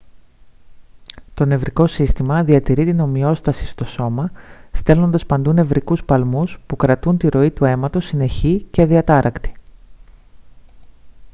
το νευρικό σύστημα διατηρεί την ομοιόσταση στο σώμα στέλνοντας παντού νευρικούς παλμούς που κρατούν τη ροή του αίματος συνεχή και αδιατάρακτη